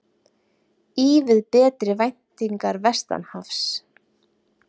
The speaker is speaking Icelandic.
Ívið betri væntingar vestanhafs